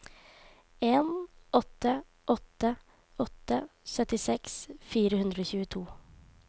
en åtte åtte åtte syttiseks fire hundre og tjueto